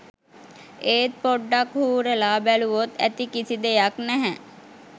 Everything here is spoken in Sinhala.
ඒත් පොඩ්ඩක් හූරලා බැලුවොත් ඇති කිසි දෙයක් නැහැ.